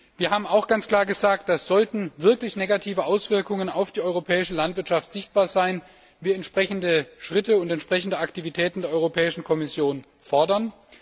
Wir haben auch ganz klar gesagt, dass, sollten wirklich negative Auswirkungen auf die europäische Landwirtschaft sichtbar sein, wir entsprechende Schritte und entsprechende Aktivitäten der Europäischen Kommission fordern.